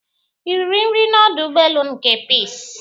I riri nri n'ọdụ ụgbọelu nke Peace?